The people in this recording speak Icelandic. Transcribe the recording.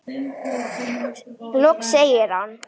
Loks segir hann